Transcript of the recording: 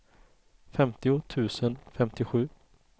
femtio tusen femtiosju